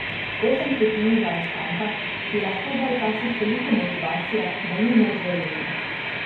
Osem stotink zaostanka ti lahko da včasih toliko motivacije, da ni moč verjeti.